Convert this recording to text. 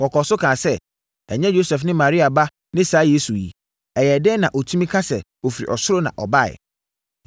Wɔkɔɔ so kaa sɛ, “Ɛnyɛ Yosef ne Maria ba ne saa Yesu yi? Ɛyɛɛ dɛn na ɔtumi ka sɛ ɔfiri ɔsoro na ɔbaeɛ?”